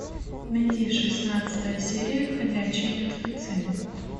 найди шестнадцатая серия ходячие мертвецы